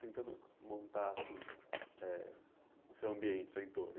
Tentando montar, assim, eh o seu ambiente, o seu entorno.